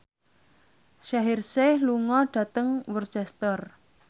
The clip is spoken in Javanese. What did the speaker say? Shaheer Sheikh lunga dhateng Worcester